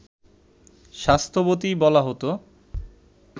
স্বাস্থ্যবতী বলা হত